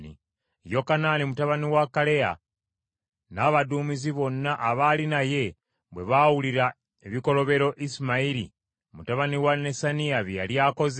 Yokanaani mutabani wa Kaleya n’abaduumizi bonna abaali naye bwe baawulira ebikolobero Isimayiri mutabani wa Nesaniya bye yali akoze,